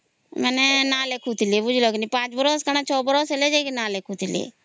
ମାନେ ପାଞ୍ଚ ବର୍ଷ କି ଛ ବର୍ଷ ହେଲେ ଲେଖୁଥିଲି